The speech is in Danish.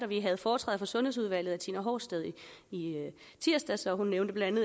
vi havde foretræde for sundhedsudvalget af tina horsted i tirsdags og hun nævnte blandt